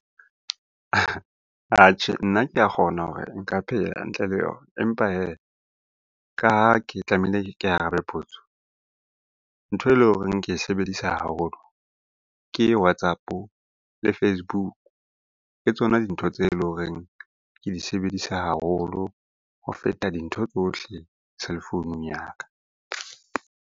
Atjhe, nna ke a kgona hore nka phela ntle le yona. Empa hee, ka ha ke tlamehile ke arabe potso. Ntho e leng hore ke e sebedisa haholo ke WhatsApp-o le Facebook. Ke tsona dintho tse leng horeng ke di sebedisa haholo ho feta dintho tsohle cellphone-ung ya ka.